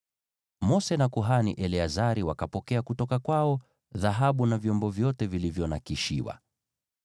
Mose na kuhani Eleazari wakapokea kutoka kwao dhahabu, yaani vyombo vyote vilivyonakshiwa.